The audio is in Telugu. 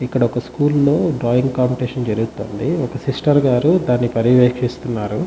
ఇక్కడ ఒక స్కూల్ లో డ్రాయింగ్ కాంపిటీషన్ జరుగుతుంది ఒక సిస్టర్ గారు దాని పర్యవేక్షిస్తున్నారు.